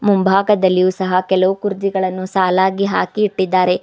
ಮುಂಭಾಗದಲ್ಲಿ ಸಹ ಕೆಲವು ಕುರ್ಜಿಗಳನ್ನು ಸಾಲಾಗಿ ಹಾಕಿ ಇಟ್ಟಿದ್ದಾರೆ.